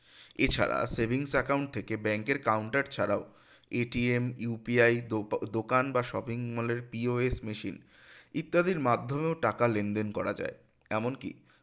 এছাড়া savings account থেকে bank এর counter ছাড়াও UPI দোকান বা shopping mall এর POH machine ইত্যাদির মাধ্যমেও টাকা লেনদেন করা যায় এমনকি